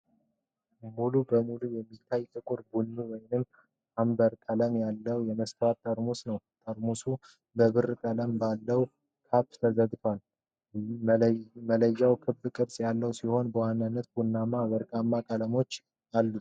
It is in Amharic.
ሙሉ በሙሉ የሚታይ ጥቁር ቡኒ ወይም አምበር ቀለም ያለው የመስታወት ጠርሙስ ነው። ጠርሙሱ በብር ቀለም ባለው ካፕ ተዘግቷል። መለያው ክብ ቅርጽ ያለው ሲሆን በዋናነት ቡናማና ወርቃማ ቀለሞች አሉት።